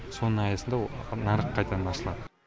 соның аясында нарық қайтадан ашылады